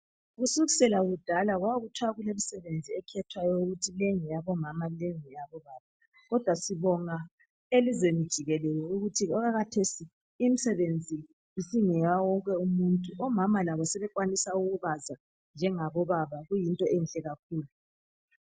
Kusukisrla kudala kulemisebenzi ekhethwayo ukuthi leyi ngeyabomama leyi ngeyabo baba kodwa sibonga ukuthi elizweni jikelele okwakhathesi imisebenzi sengeya wonke umuntu amama labo sebekwanisa ukubaza njengabobaba kuyinto enhle kakhulu.